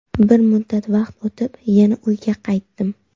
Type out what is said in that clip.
Bir muddat vaqt o‘tib, yana uyga qaytdim.